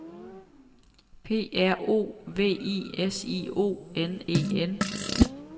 P R O V I S I O N E N